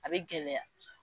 A bɛ gɛlɛya.